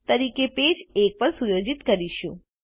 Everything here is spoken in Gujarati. તરીકે પેજ એક પર સુયોજિત કરીશું